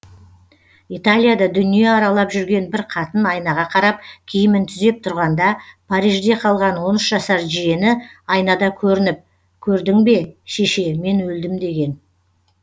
италияда дүние аралап жүрген бір қатын айнаға қарап киімін түзеп тұрғанда парижде қалған он үш жасар жиені айнада көрініп көрдің бе шеше мен өлдім деген